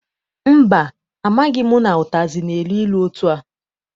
Mba, amaghị m na ụtazị na-elu ilu etua.